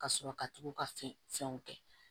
Ka sɔrɔ ka tugu ka fɛnw kɛ